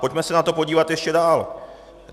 Pojďme se na to podívat ještě dál.